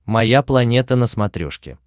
моя планета на смотрешке